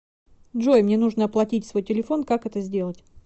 джой мне нужно оплатить свой телефон как это сделать